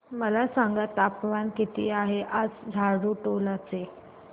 मला सांगा तापमान किती आहे आज झाडुटोला चे